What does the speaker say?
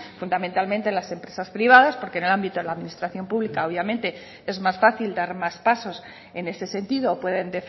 fundamentalmente las empresas privadas porque en el ámbito de la administración pública obviamente es más fácil dar más pasos en este sentido pueden